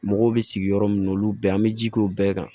Mɔgɔw bɛ sigi yɔrɔ min na olu bɛɛ an bɛ ji k'o bɛɛ kan